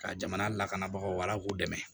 Ka jamana lakanabagaw ala k'u dɛmɛ